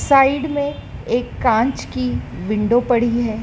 Side में एक कांच की विंडो पड़ी है।